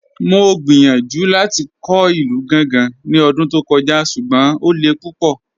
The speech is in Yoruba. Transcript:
Mọ̀ gbíyànjú láti kọ̀ ilù Gàngá ní ọ̀dún tó kọ̀jà̀, ṣùgbọ́n o lẹ̀ púpọ̀.